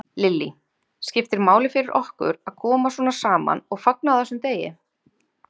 Lillý: Skiptir máli fyrir okkur að koma svona saman og fagna á þessum degi?